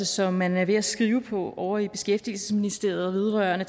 som man er ved at skrive ovre i beskæftigelsesministeriet vedrørende